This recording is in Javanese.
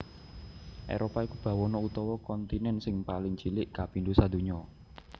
Éropah iku bawana utawa kontinèn sing paling cilik kapindho sadonya